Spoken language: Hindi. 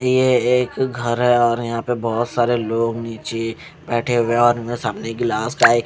ये एक घर है और यहां पे बहोत सारे लोग नीचे बैठे हुए हैं और उनमे सामने गिलास का एक --